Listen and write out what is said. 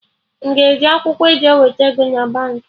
M ga eji akwụkwọ e ji eweta ego na Baankị?